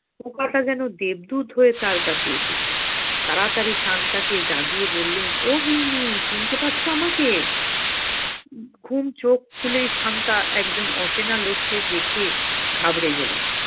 পোকাটা জেনো দেবদূত হয়ে তার কাছে এসেছে তাড়াতাড়ি শান্তাকে জাগিয়ে বললেন ও গিন্নি চিনতে পারছো আমাকে? উম ঘুম চোখ খুলেই শান্তা একজন অচেনা লোককে দেখে ঘাবড়ে গেলেন